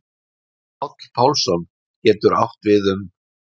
páll pálsson getur átt við um